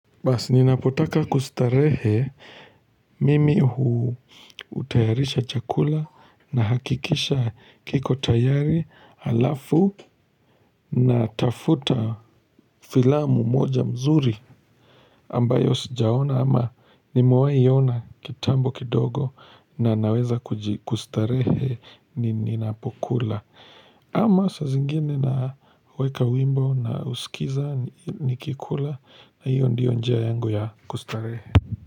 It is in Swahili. Bas ninapotaka kustarehe mimi hutayarisha chakula nahakikisha kiko tayari alafu natafuta filamu moja mzuri ambayo sijaona ama nimewahi iona kitambo kidogo na naweza kuji kustarehe ninapokula. Ama saa zingine naweka wimbo na husikiza nikikula na hiyo ndio njia yangu ya kustarehe.